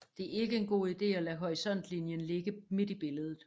Det er ikke en god ide at lade horisontlinjen ligge midt i billedet